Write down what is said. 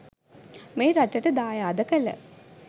මේ රටට දායාද කළ